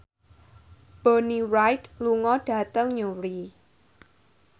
Bonnie Wright lunga dhateng Newry